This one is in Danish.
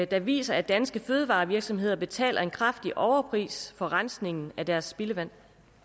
der viser at danske fødevarevirksomheder betaler en kraftig overpris for rensningen af deres spildevand